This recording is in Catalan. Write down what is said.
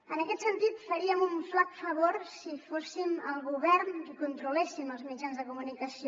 en aquest sentit faríem un flac favor si fóssim el govern qui controléssim els mitjans de comunicació